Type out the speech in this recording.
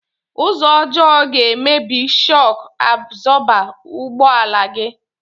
Ụzọ ọjọọ ga emebi shọk abzọba ụgbọ ala gi